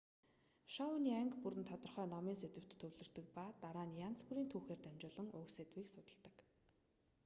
шоуны анги бүр нь тодорхой номын сэдэвт төвлөрдөг ба дараа нь янз бүрийн түүхээр дамжуулан уг сэдвийг судалдаг